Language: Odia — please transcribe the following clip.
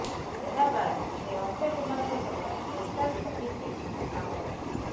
ଏହା ବାଦ୍ ସେ ଅକ୍ଷୟ କୁମାରଙ୍କ ସହ ସ୍ପେଶାଲ ଛବିଶରେ କାମ କରିଛନ୍ତି